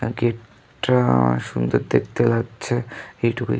আগে-র টা অনেক সুন্দর দেখতে লাগছে।